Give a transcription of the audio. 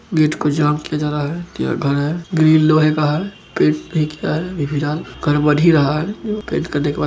Gate को jam किया जा रहा है। यहां घर है ग्रिल लोहे का है। घर बन ही रहा हैजो पेंट करने के बाद --